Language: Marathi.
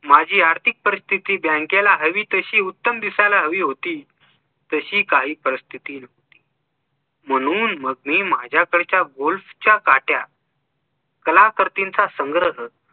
माझी आर्थिक परिस्थिती बँकेला हवी तशी उत्तम दिसायला हवी होती तशी काही परिस्थिती म्हणून मग मी माझ्याकडच्या golf च्या काठ्या कलाकर्तींचा संग्रह